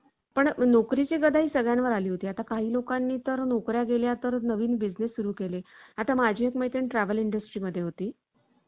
entertainment मुळे आपण स्वतः बरोबर आपल्या family ला देखील आनंदी आणि अं उत्साहित अं एक देऊ शकतो कारण आपण जर आपल्या family ला घेऊन